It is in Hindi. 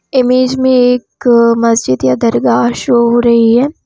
इमेज में एक मस्जिद या दरगाह शो हो रही है।